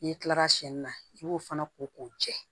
N'i kilara siyɛnni na i b'o fana ko k'o jɛ